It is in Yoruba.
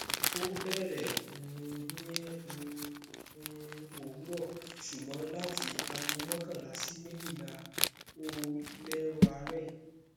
o beere um ni um um owuro sugbon lati ago makanla si mejila o lero aare